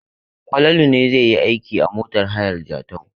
Falalu ne zai yi aiki a motar hayar Jatau.